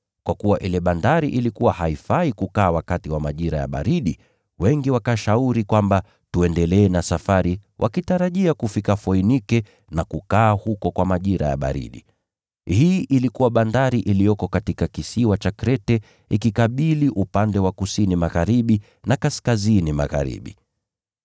Kwa kuwa ile bandari ilikuwa haifai kukaa wakati wa majira ya baridi, wengi wakashauri kwamba tuendelee na safari wakitarajia kufika Foinike na kukaa huko kwa majira ya baridi. Hii ilikuwa bandari iliyoko katika kisiwa cha Krete ikikabili upande wa kusini-magharibi na kaskazini-magharibi.